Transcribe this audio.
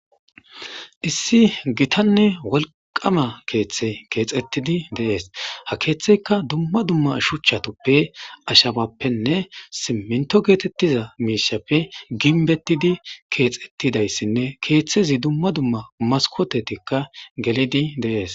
Issi gitanne wolqama keeththe keexettidi deees ha keeththeyka dumma dumma shuchchatoppe ashabappenne siminto geetettiza miishappe ginbettidi keexettidayssinne keeththezi dumma dumma maskotetikka gelidi deees.